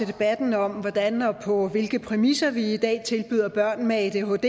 debatten om hvordan og på hvilke præmisser vi i dag tilbyder børn med adhd